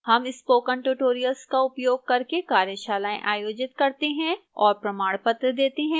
हम spoken tutorial का उपयोग करके कार्यशालाएँ आयोजित करते हैं और प्रमाणपत्र देती है